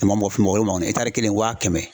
I ma mɔgɔ fimɔ ole m'aw ɲɛ kelen wa kɛmɛ